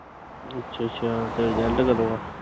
ਅੱਛਾ-ਅੱਛਾ ਤੇ result ਕਦੋਂ ਆ।